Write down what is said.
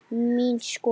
Mín skoðun?